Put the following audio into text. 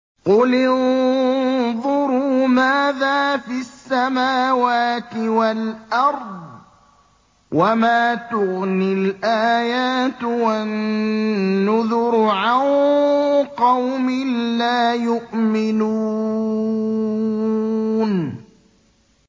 قُلِ انظُرُوا مَاذَا فِي السَّمَاوَاتِ وَالْأَرْضِ ۚ وَمَا تُغْنِي الْآيَاتُ وَالنُّذُرُ عَن قَوْمٍ لَّا يُؤْمِنُونَ